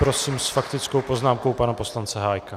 Prosím s faktickou poznámkou pana poslance Hájka.